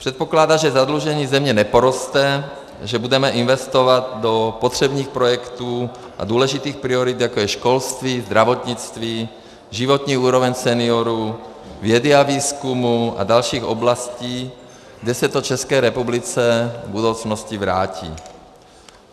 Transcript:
Předpokládá, že zadlužení země neporoste, že budeme investovat do potřebných projektů a důležitých priorit, jako je školství, zdravotnictví, životní úroveň seniorů, vědy a výzkumu a dalších oblastí, kde se to České republice v budoucnosti vrátí.